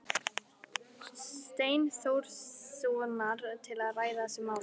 Steinþórssonar til að ræða þessi mál.